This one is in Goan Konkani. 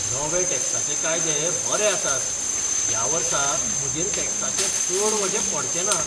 नवे टॅक्साचें कायदे बरे आसात! ह्या वर्सा म्हजेर टॅक्साचें चड वजें पडचें ना!